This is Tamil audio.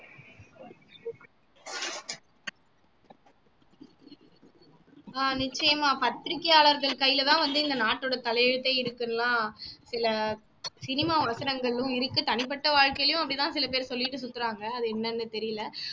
ஆஹ் நிச்சயமா பத்திரிக்கையாளர்கள் கையில தான் வந்து இந்த நாட்டோட தலையெழுத்தே இருக்குன்னு எல்லாம் சில cinema வசனங்களும் இருக்கு தனிப்பட்ட வாழ்க்கையிலையும் அப்படித்தான் சில பேரு சொல்லிட்டு சுத்துறாங்க அது என்னன்னு தெரியல